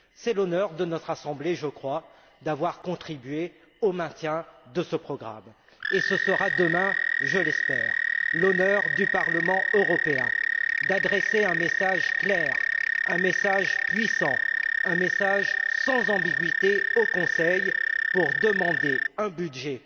C'est l'honneur de notre Assemblée, je crois, d'avoir contribué au maintien de ce programme, et ce sera demain, je l'espère, l'honneur du Parlement européen d'adresser un message clair, un message puissant, un message sans ambiguïté au Conseil pour demander un budget